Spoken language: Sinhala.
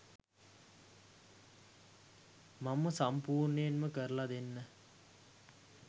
මම සම්පුර්ණයෙන්ම කරලා දෙන්න